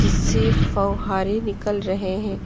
से फ़ौहारे निकल रहे हैं।